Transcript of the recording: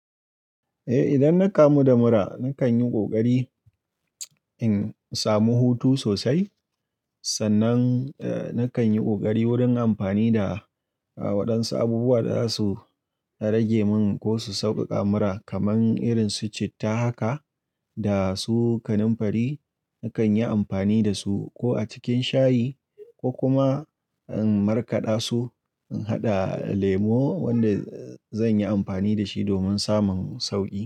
Eh, idan na kamu da mura nakan yi ƙoƙari in samu hutu sosai. Sannan, nakan yi ƙoƙari wurin amfani da waɗansu abubuwa da za su rage min ko su saukaka mura kamar irin su citta haka da su kanunfari. Nakan yi amfani da su ko a cikin shayi ko kuma in markaɗa su, in haɗa lemo wanda zan yi amfani da shi domin samun sauƙi.